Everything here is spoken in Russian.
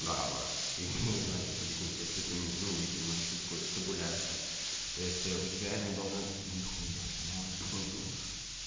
права я не знаю как объяснить если ты ну не понимаешь что такое табуляция то есть у тебя они должны нихуя себе на улице был дождь